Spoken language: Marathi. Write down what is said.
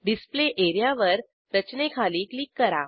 डिस्प्ले एरिया वर रचनेखाली क्लिक करा